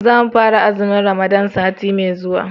za mu fara azumin ramadana sati mai zuwa